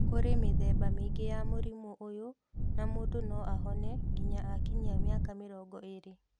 Kũrĩ mĩthemba mĩingĩ ya mũrimũ ũyũ na mũndũ no ahone nginya akinyia mĩaka mĩrongo ĩrĩ.